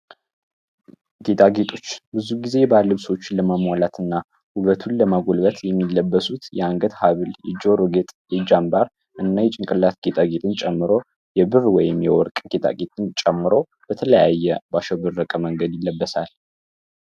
ጌጣ ጌጦች ብዙ ጊዜ ባልብሶችን ለማሟላት እና ሁበቱን ለማጎልበት የሚለበሱት የአንገት ሀብል የጆርጌጥ የጃንባር እና የጭንቅላት ኬጣጌትን ጨምሮ የብብ ወይም የወርቅ ኬታጌትን ጨምሮ በተለያየ ባሸው ብድረቀ መንገድ ይለበሳል።